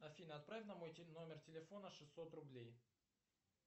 афина отправь на мой номер телефона шестьсот рублей